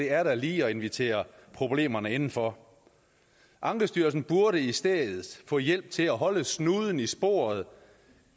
er da lige at invitere problemerne indenfor ankestyrelsen burde i stedet få hjælp til at holde snuden i sporet